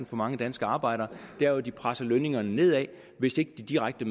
for mange danske arbejdere er at de presser lønningerne nedad hvis ikke de direkte